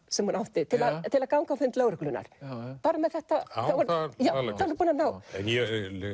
sem hún átti til að ganga á fund lögreglunnar bara með þetta en ég